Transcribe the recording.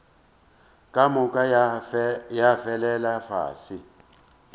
ka moka ya felela fase